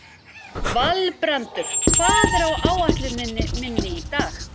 Valbrandur, hvað er á áætluninni minni í dag?